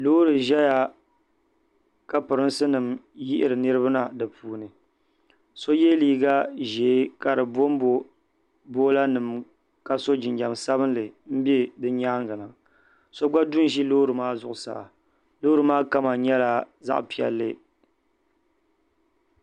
Loori ʒɛya ka pirinsi nim yihiri niraba na bi puuni so yɛ liiga ʒiɛ ka di bonbo boola nima ka so jinjɛm sabiniso gba du ʒi loori zuɣu loori maa kama nyɛla zaɣ piɛlli